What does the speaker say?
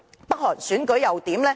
北韓選舉又如何？